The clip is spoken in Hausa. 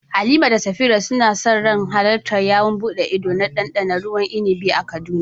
Halima da Safira suna sa ran halartar yawon buɗe ido na ɗanɗana ruwan inibi a Kaduna.